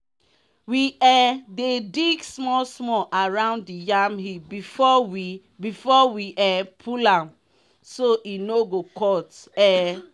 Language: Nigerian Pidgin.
we um dey dig small small around the yam heap before we before we um pull am so e no go cut. um